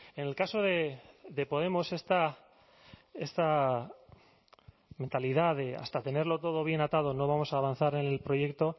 en el caso de podemos esta mentalidad de hasta tenerlo todo bien atado no vamos a avanzar en el proyecto